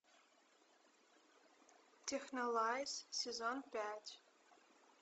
технолайз сезон пять